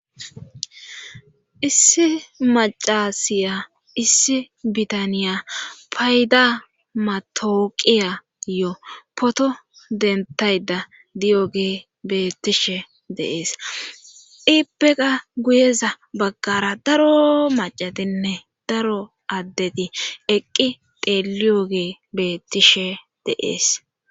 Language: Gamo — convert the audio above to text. Issi macasiya issi bitaniya payda matooqiyayo poto dentayda diyogee bettishe deees ippeqa guyeza baggara daro macatinne daro addeti eqqi teeliyogee bettishe deees.